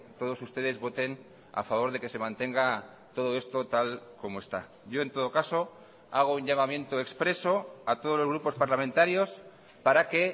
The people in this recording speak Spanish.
todos ustedes voten a favor de que se mantenga todo esto tal como está yo en todo caso hago un llamamiento expreso a todos los grupos parlamentarios para que